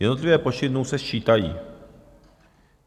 Jednotlivé počty dnů se sčítají.